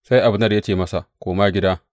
Sai Abner ya ce masa, Koma gida!